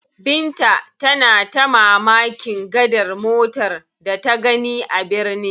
Binta tana ta mamakin gadar motar da ta gani a birni.